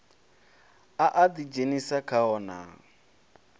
a a ḓidzhenisa khao naa